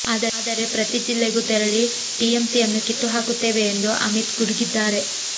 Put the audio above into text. ಆದರೆ ಪ್ರತಿ ಜಿಲ್ಲೆಗೂ ತೆರಳಿ ಟಿಎಂಸಿಯನ್ನು ಕಿತ್ತು ಹಾಕುತ್ತೇವೆ ಎಂದು ಅಮಿತ್ ಗುಡುಗಿದ್ದಾರೆ